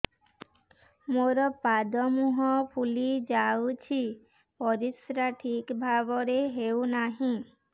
ମୋର ପାଦ ମୁହଁ ଫୁଲି ଯାଉଛି ପରିସ୍ରା ଠିକ୍ ଭାବରେ ହେଉନାହିଁ